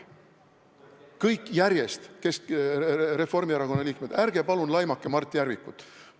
Kõik teie järjest, Reformierakonna liikmed, ärge palun laimake Mart Järvikut!